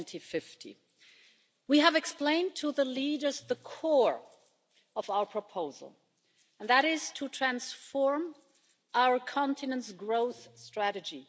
2050. We have explained to the leaders the core of our proposal and that is to transform our continent's growth strategy.